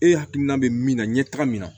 E hakilina bɛ min na ɲɛ taga min na